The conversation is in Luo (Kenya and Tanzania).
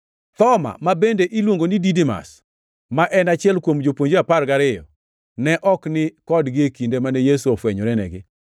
Thoma (ma bende iluongo ni Didimas), ma en achiel kuom jopuonjre apar gariyo, ne ok ni kodgi e kinde mane Yesu ofwenyorenigi.